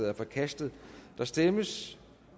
er forkastet der stemmes